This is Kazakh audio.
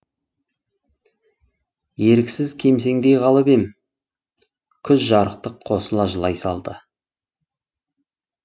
еріксіз кемсеңдей қалып ем күз жарықтық қосыла жылай салды